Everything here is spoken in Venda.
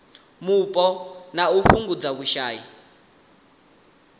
mupo na u fhungudza vhushai